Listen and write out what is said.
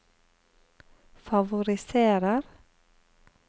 favoriserer